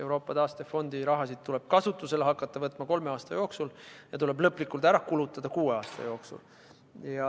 Euroopa taastefondi raha tuleb kasutusele võtta kolme aasta jooksul ja lõplikult ära kulutada kuue aasta jooksul.